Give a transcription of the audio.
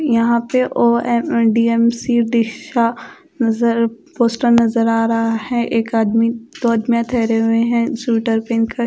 यहां पे ओ_एम_डी_एम_सी डीसा नजर पोस्टर नजर आ रहा है एक आदमी दो आदमी ठहरे हुए है स्वेटर पहेनकर--